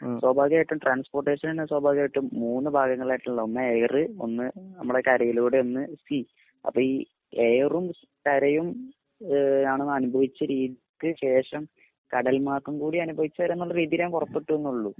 സ്വഭാവികമായിട്ടും transportation സ്വഭാവികമായിട്ടും മൂന്ന് ഭാഗങ്ങളായിട്ടുള്ളത് ഒന്ന് എയർ ഒന്ന് നമ്മുടെ കരയിലൂടെ ഒന്ന് അപ്പൊ ഈ എയറും കരയും ആണ് ഏഹ് അനുഭവിച്ച രീതിക്ക് ശേഷം കടൽമാർഗംകൂടി അനുഭവിച്ചുവരാനുള്ള രീതിയിൽ പുറപെട്ടുന്നുള്ളു